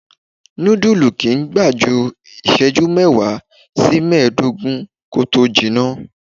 Nudulu kì í gbà ju isẹju mẹ́wàá sí meedogun kó tó jina.